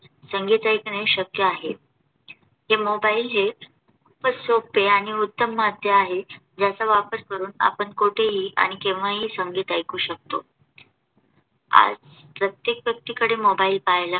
ने शक्य आहे. ते MOBILE हे खूपच सोपे आणि उत्तम माध्यम आहे. ज्याचा वापर करून आपण कुठेही आणि केव्हाही संगीत ऐकू शकतो. आज प्रत्येक व्यक्तीकडे MOBILE पाहायला